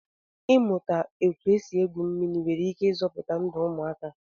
Ịmụta otú e si egwu mmiri nwere ike ịzọpụta ndụ ụmụaka